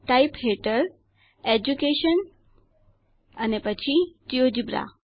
type હેઠળ education અને પછી જિયોજેબ્રા